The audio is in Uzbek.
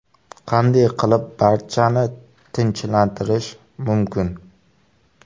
Qanday qilib barchani tinchlantirish mumkin?